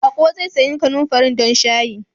Baƙo zai sayi kanumfarin don shayin.